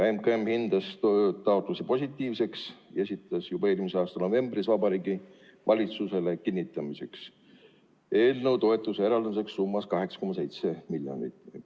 MKM hindas taotluse positiivseks ja esitas juba eelmise aasta novembris Vabariigi Valitsusele kinnitamiseks eelnõu, mille alusel eraldada toetus summas 8,7 miljonit eurot.